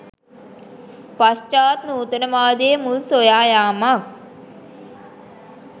පශ්චාත් නූතනවාදයේ මුල් සොයා යාමක්